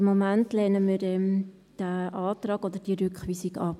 Aber im Moment lehnen wir diesen Antrag oder diese Rückweisung ab.